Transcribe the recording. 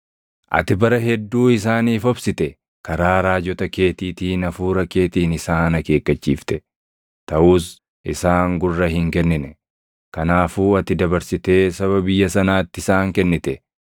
Ati bara hedduu isaaniif obsite. Karaa raajota keetiitiin Hafuura keetiin isaan akeekkachiifte. Taʼus isaan gurra hin kennine; kanaafuu ati dabarsitee saba biyya sanaatti isaan kennite.